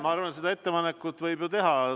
Ma arvan, et selle ettepaneku võib ju teha.